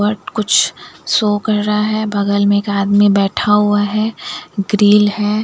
But कुछ show कर रहा है बगल में एक आदमी बैठा हुआ है ग्रिल है।